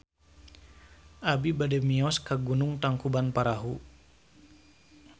Abi bade mios ka Gunung Tangkuban Perahu